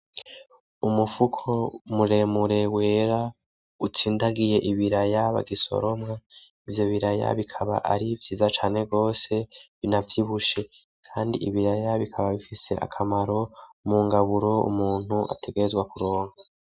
Umufuko muremure wera utsindagiye ibiraya bagisoroma, ivyo biraya bikaba ari vyiza cane gose binavyibushe , kandi ibiraya bikaba bifise akamaro mu ngaburo umuntu ategerezwa kuronka.